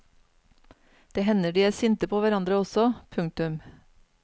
Det hender de er sinte på hverandre også. punktum